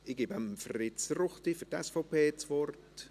Ich gebe Fritz Ruchti für die SVP das Wort.